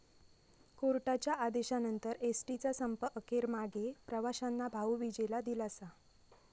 कोर्टाच्या आदेशानंतर एसटीचा संप अखेर मागे, प्रवाशांना भाऊबिजेला दिलासा